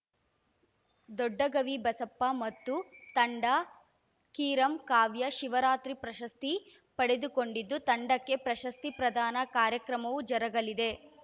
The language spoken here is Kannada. ದೊಡ್ಡಗವಿ ಬಸಪ್ಪ ಮತ್ತು ತಂಡ ಕಿರಂ ಕಾವ್ಯ ಶಿವರಾತ್ರಿ ಪ್ರಶಸ್ತಿ ಪಡೆದುಕೊಂಡಿದ್ದು ತಂಡಕ್ಕೆ ಪ್ರಶಸ್ತಿ ಪ್ರಧಾನ ಕಾರ್ಯಕ್ರಮವೂ ಜರಗಲಿದೆ